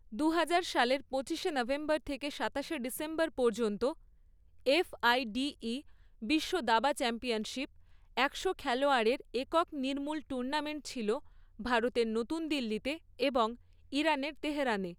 দু হাজার সালের পঁচিশশে নভেম্বর থেকে সাতাশে ডিসেম্বর পর্যন্ত, এফ আই ডী ই বিশ্ব দাবা চ্যাম্পিয়নশিপ একশো খেলোয়াড়ের একক নির্মূল টুর্নামেন্ট ছিল ভারতের নতুন দিল্লি, এবং ইরানের তেহরানে।